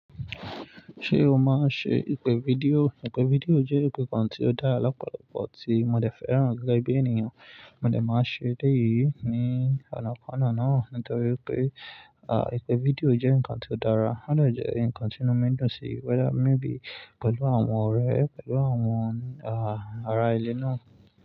Ṣé o máa ń ṣe ìpè fídíò? Ìpè fídíò jẹ́ ìpè kan tí ó dára lọ́pọ̀lọpọ̀ tí mo dẹ̀ fẹ́ràn gẹ́gẹ́ bí ènìyàn. Mo dẹ̀ máa ń ṣe èleyí ní ọ̀nàkọ́nà náà nítorí pé ìpè fídíò jẹ́ ǹkan tí ó dára. O de jẹ́e ǹkan tí inu mi dùn sí whether maybe pẹ̀lú àwọn ọ̀rẹ́ rẹ pẹ̀lú àwọn ará ìle náà.